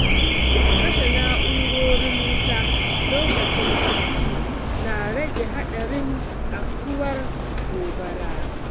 Kashe na'urorin wuta lokacin barci na rage haɗarin afkuwar gobara.